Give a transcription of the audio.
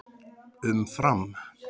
Um Fram: